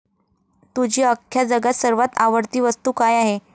तुझी अख्ख्या जगात सर्वात आवडती वस्तु काय आहे?